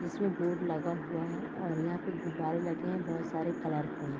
इसमें बोर्ड लगा हुआ है और यहाँ पे गुब्बारे लगे है बहुत सारे कलरफुल --